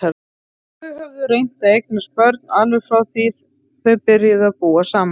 Þau höfðu reynt að eignast börn alveg frá því þau byrjuðu að búa saman.